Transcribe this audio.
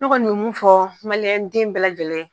N kɔni bɛɛ mun fɔ maliɛn den bɛɛ lajɛlen ye.